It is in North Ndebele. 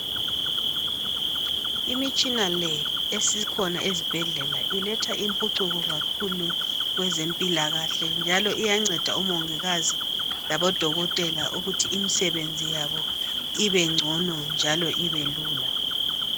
Imitshina le esikhona ezibhedlela iletha impucuko kakhulu kwezempilakahle .Njalo iyanceda odokotela labomongikazi ukuthi imisebenzi ibengcono njalo ibelulula.